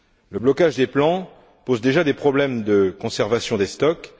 Le blocage des plans pose déjà des problèmes de conservation des stocks.